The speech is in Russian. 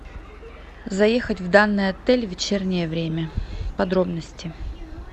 заехать в данный отель в вечернее время подробности